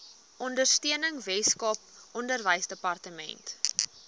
ondersteuning weskaap onderwysdepartement